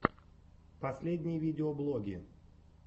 последние видеоблоги